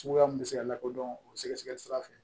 Suguya min bɛ se ka lakodɔn o sɛgɛsɛgɛli sira fɛ